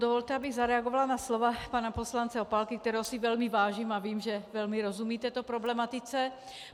Dovolte, abych zareagovala na slova pana poslance Opálky, kterého si velmi vážím, a vím, že velmi rozumí této problematice.